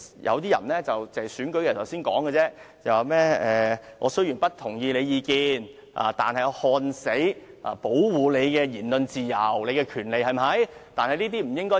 有些人選舉的時候才說："我雖然不同意你的意見，但誓死保衞你的言論自由和權利"。